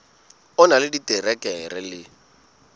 o na le diterekere le